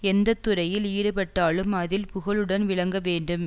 எந்த துறையில் ஈடுபட்டாலும் அதில் புகழுடன் விளங்கவேண்டும்